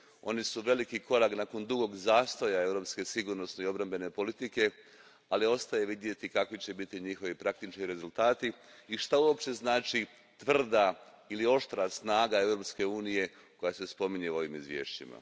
One su veliki korak nakon dugog zastoja europske sigurnosne i obrambene politike, ali ostaje za vidjeti kakvi će biti njihovi praktični rezultati i što uopće znači tvrda ili oštra snaga Europske unije koja se spominje u ovim izvješćima.